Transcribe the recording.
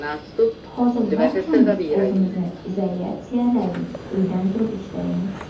Hozir barchamiz o‘zimizni izolyatsiyaladik, uydan turib ishlaymiz.